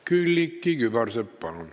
Külliki Kübarsepp, palun!